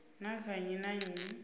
na kha nnyi na nnyi